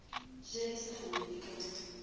ja di sa wele ka